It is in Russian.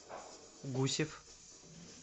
гусев